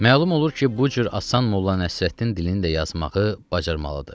Məlum olur ki, bu cür asan Molla Nəsrəddin dilində yazmağı bacarmalıdır.